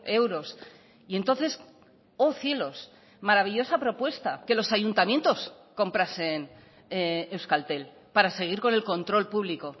euros y entonces oh cielos maravillosa propuesta que los ayuntamientos comprasen euskaltel para seguir con el control público